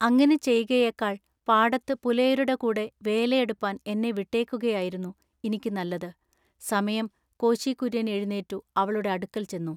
അങ്ങിനെ ചെയ്കയേക്കാൾ പാടത്തു പുലയരുടെ കൂടെ വേലയെടുപ്പാൻ എന്നെ വിട്ടേക്കുകയാകുന്നു ഇനിക്ക് നല്ലത് സമയം കോശി കുര്യൻ എഴുനീറ്റു അവളുടെ അടുക്കൽ ചെന്നു.